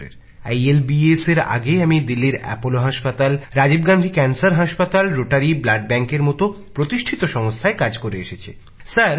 institute of liver and biliary সায়েন্সেসএর আগে আমি দিল্লির অ্যাপোলো হাসপাতাল রাজীব গান্ধী ক্যান্সার হাসপাতাল রোটারি ব্লাড ব্যাঙ্কের মত প্রতিষ্ঠিত সংস্থায় কাজ করে এসেছি